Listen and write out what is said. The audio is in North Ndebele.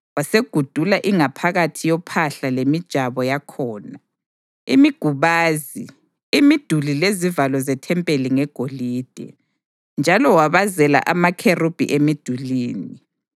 Wasegudula ingaphakathi yophahla lemijabo yakhona, imigubazi, imiduli lezivalo zethempeli ngegolide, njalo wabazela amakherubhi emidulini.